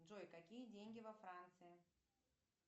джой какие деньги во франции